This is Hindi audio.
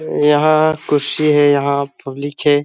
यहां कुर्शी है यहां पब्लिक है।